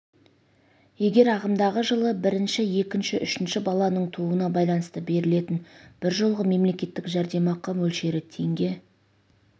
егер ағымдағы жылы бірінші екінші үшінші баланың тууына байланысты берілетін бір жолғы мемлекеттік жәрдемақы мөлшері теңге